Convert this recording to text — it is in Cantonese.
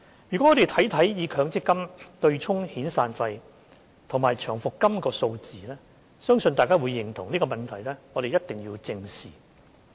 如果我們看看以強積金對沖遣散費及長期服務金的數字，相信大家會認同這個問題必須正視。